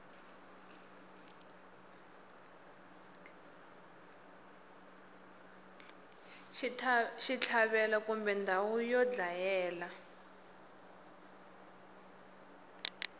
xitlhavelo kumbe ndhawu yo dlayela